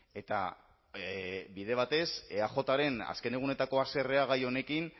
eta bide batez eajren azken egunetako haserrea gai honekin